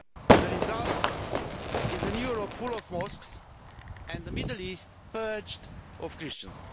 The result is a Europe full of mosques and the Middle East purged of Christians.